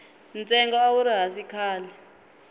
ntsengo a wuri hansi khale